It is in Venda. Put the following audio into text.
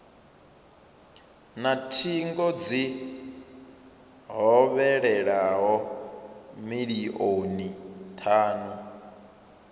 na thingo dzi hovhelelaho milioni thanu